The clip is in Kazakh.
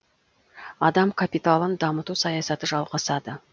адам капиталын дамыту саясаты жалғасады